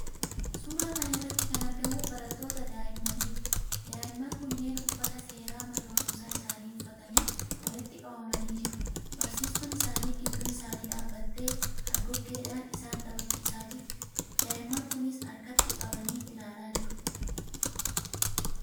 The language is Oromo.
Suuraa kana irratti kan argamu barattoota daa'immaniiti. Daa'imman kunneen uffata seeraa mana barumsaa isaanii uffatanii walitti qabamanii jiru. Barsiistuun isaanii gidduu isaanii dhaabattee hargoggeedhaan isaan taphachiisaa jirti. Daa'imman kunis harkatti qabanii ilaalaa jiru.